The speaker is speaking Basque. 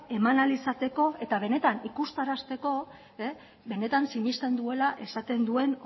eman ahal izateko eta benetan ikustarazteko benetan sinesten duela esaten duen